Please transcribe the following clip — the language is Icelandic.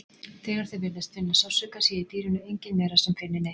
Þegar þau virðist finna sársauka sé í dýrinu engin vera sem finni neitt.